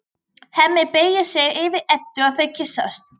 Hemmi beygir sig yfir Eddu og þau kyssast.